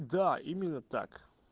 да именно так